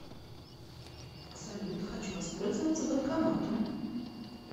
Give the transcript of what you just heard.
салют хочу воспользоваться банкоматом